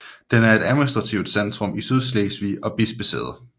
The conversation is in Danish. Den er et administrativt centrum i Sydslesvig og bispesæde